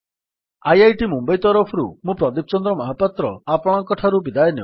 IIT Mumbai ତରଫରୁ ମୁଁ ପ୍ରଦୀପ ଚନ୍ଦ୍ର ମହାପାତ୍ର ଆପଣଙ୍କଠାରୁ ବିଦାୟ ନେଉଛି